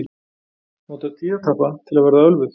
Nota tíðatappa til að verða ölvuð